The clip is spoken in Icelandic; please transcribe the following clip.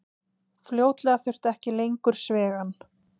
Fljótlega þurfti ekki lengur svigann.